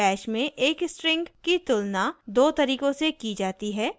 bash में एक string की तुलना दो तरीकों से की जाती है